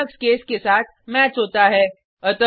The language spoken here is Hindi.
यह लिनक्स केस के साथ मैच होता है